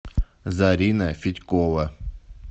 зарина федькова